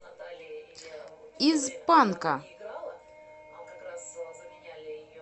из панка